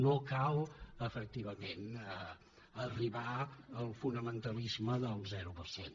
no cal efectivament arribar al fonamentalisme del zero per cent